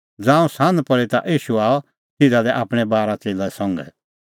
ज़ांऊं सान्ह पल़ी ता ईशू आअ तिधा लै आपणैं बारा च़ेल्लै संघै